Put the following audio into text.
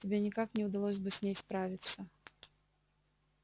тебе никак не удалось бы с ней справиться